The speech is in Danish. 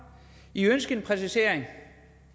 i ønskede en præcisering